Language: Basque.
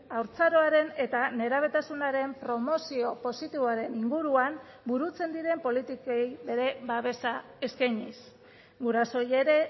haurtzaroaren eta nerabetasunaren promozio positiboaren inguruan burutzen diren politikei bere babesa eskainiz gurasoei ere